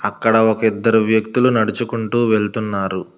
అక్కడ ఒక ఇద్దరు వ్యక్తులు నడుచుకుంటూ వెళుతున్నారు.